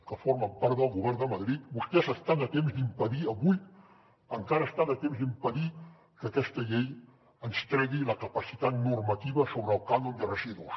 que formen part del govern de madrid vostès estan a temps d’impedir avui encara estan a temps d’impedir que aquesta llei ens tregui la capacitat normativa sobre el cànon de residuos